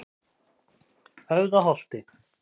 Höfðaholti